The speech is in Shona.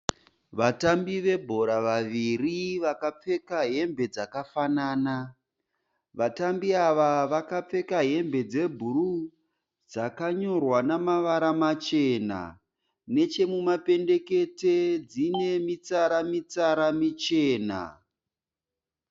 Vatambi vebhora vaviri vakapfeka hembe dzakafanana. Vatambi ava vakapfeka hembe dzebhuruu dzakanyorwa nemavara machena. Neche mumapendekete dziine mitsara mitsara michena.